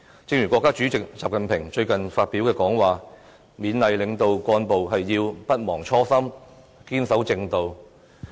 正如國家主席習近平最近發表講話，他勉勵領導幹部要不忘初心，堅守正道。